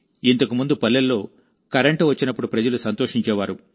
ఇంతకు ముందు పల్లెల్లో కరెంటు వచ్చినప్పుడు ప్రజలు సంతోషించేవారు